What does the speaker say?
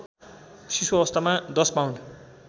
शिशुअवस्थामा १० pound